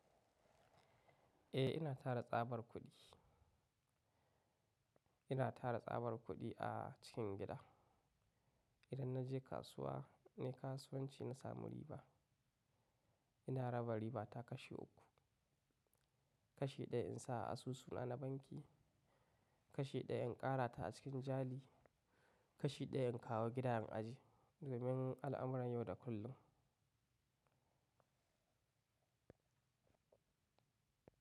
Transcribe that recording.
Eh ina tara tsabar kuɗi. Ina tara tsabar kuɗi a cikin gida. Idan na je kasuwa, ne kasuwanci na samu riba. Ina raba riba ta kashi uku. Kashi ɗaya in sa a asusu na banki, kashi ɗaya in ƙara ta a cikin jari, kashi ɗaya in kawo gidan in aje domin al'amuran yau da kullum.